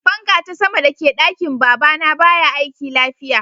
Fanka ta sama da ke dakin baba na baya aiki lafiya.